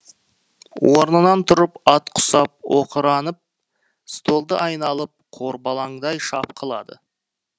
орнынан тұрып ат құсап оқыранып столды айналып қорбалаңдай шапқылады